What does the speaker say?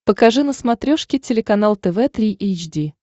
покажи на смотрешке телеканал тв три эйч ди